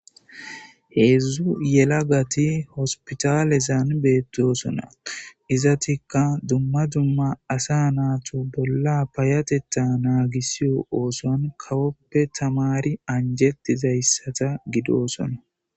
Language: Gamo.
Hezhzhu yeelagati hossipitalen bettosona izzetika dumma dumma osson kawoppe anjjetidasa giddossona.